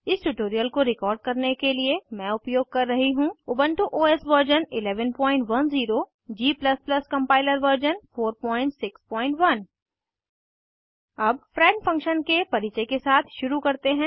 इस ट्यूटोरियल को रिकॉर्ड करने के लिए मैं उपयोग कर रही हूँ Ubuntu OS version 1110 g compiler version 461 अब फ्रेंड फंक्शन के परिचय के साथ शुरू करते हैं